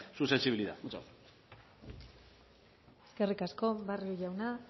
su sensibilidad muchas gracias eskerrik asko barrio jauna